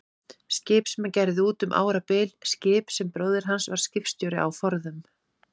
Skip sem hann gerði út um árabil, skip sem bróðir hans var skipstjóri á forðum.